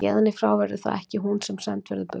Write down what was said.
Héðan í frá verður það ekki hún sem send verður burt.